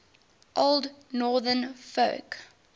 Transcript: old northern folk